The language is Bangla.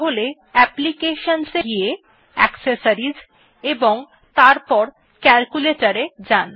তাহলে applications এ গিয়ে অ্যাক্সেসরিজ এবং এরপর Calculator এ যান